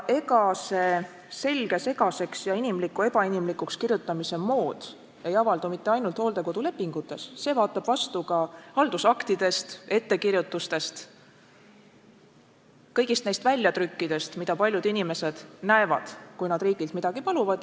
Ega see selge segaseks ja inimliku ebainimlikuks kirjutamise mood ei avaldu mitte ainult hooldekodulepingutes, see vaatab vastu ka haldusaktidest, ettekirjutustest – kõigist neist väljatrükkidest, mida paljud inimesed näevad, kui nad riigilt midagi paluvad.